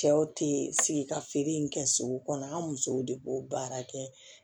Cɛw tɛ sigi ka feere in kɛ sugu kɔnɔ an musow de b'o baara kɛ